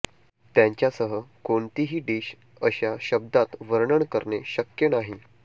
त्यांच्यासह कोणतीही डिश अशा शब्दात वर्णन करणे शक्य नाही